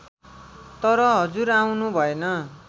तर हजुर आउनु भएन